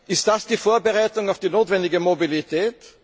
Ist das die Vorbereitung auf die notwendige Mobilität?